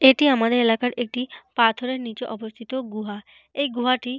এটি আমাদের এলাকার একটি পাথরের নিচে অবস্থিত গুহা। এই গুহাটি।